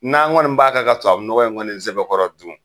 N'an kɔni b'a kan ka tubabunɔgɔ in kɔni sɛbɛkɔrɔ dun